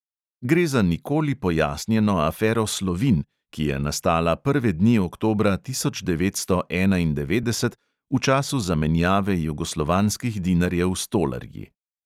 Gre za nikoli pojasnjeno afero slovin, ki je nastala prve dni oktobra tisoč devetsto enaindevetdeset, v času zamenjave jugoslovanskih dinarjev s tolarji.